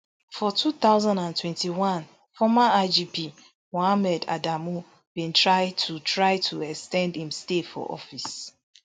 for two thousand and twenty-one former igp mohammed adamu bin try to try to ex ten d im stay for office